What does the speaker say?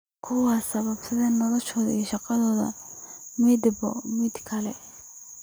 Ku saabsan noloshooda iyo shaqadooda midba midka kale.